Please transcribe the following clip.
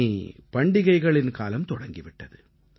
இனி பண்டிகைகளின் காலம் தொடங்கி விட்டது